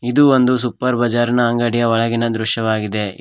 ಇದು ಒಂದು ಸೂಪರ್ ಭಜರಿನ ಅಂಗಡಿಯ ಒಳಗಿನ ದೃಶ್ಯವಾಗಿದೆ ಇ--